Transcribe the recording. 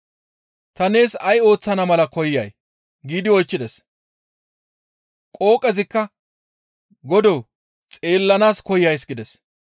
«Ta nees ay ooththana mala koyay?» giidi oychchides. Qooqezikka, «Godoo xeellanaas koyays» gides.